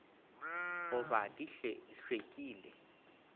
go ba di hlw ekile